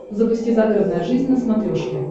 запусти загородная жизнь на смотрешке